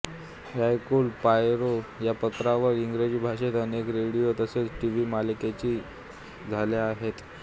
Hercule Poirot या पात्रावर इंग्रजी भाषेत अनेक रेडिओ तसेच टीव्ही मालिकांची झाल्या आहेत